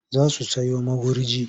Za su sayo magurji.